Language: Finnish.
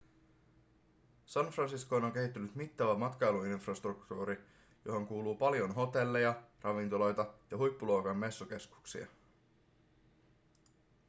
san franciscoon on kehittynyt mittava matkailuinfrastruktuuri johon kuuluu paljon hotelleja ravintoloita ja huippuluokan messukeskuksia